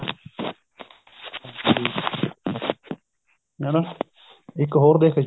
ਹਣਾ ਇੱਕ ਹੋਰ ਦੇਖ